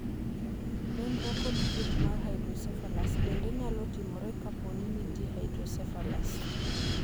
Nonro kod thieth mar hydrocephalus bende nyalo timore kapo ni nitie hydrocephalus.